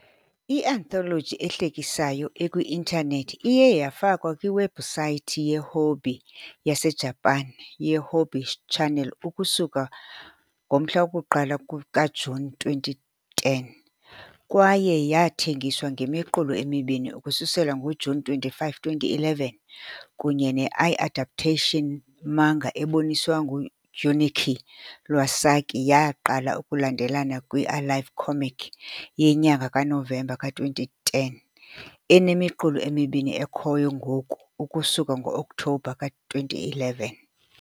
i - anthology ehlekisayo ekwi-intanethi iye yafakwa kwiwebhusayithi yeHobby yaseJapan yeHobby Channel ukusuka nge - 1 kaJuni 2010 kwaye yathengiswa ngemiqulu emibini ukusukela ngoJuni 25 , 2011, kunye ne I-adaptation manga eboniswa nguJunichi Iwasaki yaqala ukulandelelana kwi- "Alive Comic" yenyanga kaNovemba ka-2010 enemiqulu emibini ekhoyo ngoku ukusuka ngo-Okthobha ka-2011.